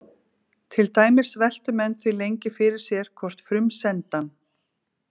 Til dæmis veltu menn því lengi fyrir sér hvort frumsendan: